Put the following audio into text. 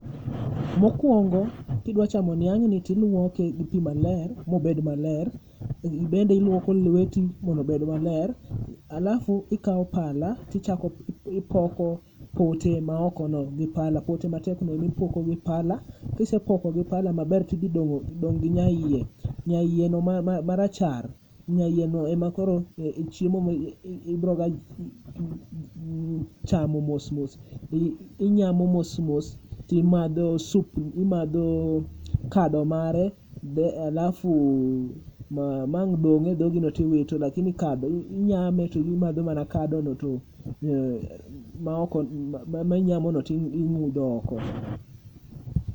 Mokuongo kidwa chamo niang'ni to iluoke gi pi maler mobed maler, ibende iluoko lweti mondo obed maler, [cs6 alafu ikawo pala tipoko pote maokono. Pote matekno emipoko gi pala, kisepoko gipala maber to idhi dong' gi nyaiye. Nyaiyeno marachar, nyaiyeno e chiemo ma ibiro ga chamo mos mos, obiroga nyamo to imadho sup imadho kado mare alafu ma ang' dong' e dhogi to ing'udho oko.